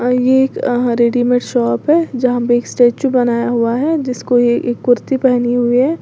ये एक readymade shop है जहां पर एक स्टैचू बनाया हुआ है जिसको यह कुर्ती पहनी हुई है।